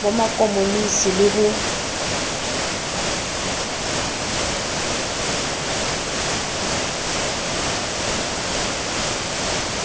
ba ma komonisi le ho